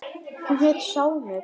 Hann hét Sámur.